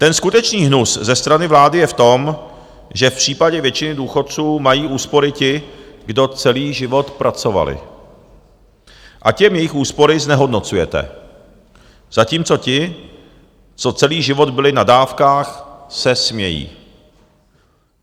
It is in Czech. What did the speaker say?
Ten skutečný hnus ze strany vlády je v tom, že v případě většiny důchodců mají úspory ti, kdo celý život pracovali, a těm jejich úspory znehodnocujete, zatímco ti, co celý život byli na dávkách, se smějí.